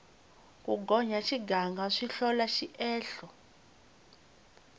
ku gonya xiganga swi hlola xiehlo